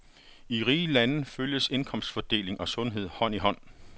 I rige lande følges indkomstfordeling og sundhed hånd i hånd.